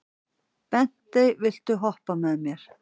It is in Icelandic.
Bentey, viltu hoppa með mér?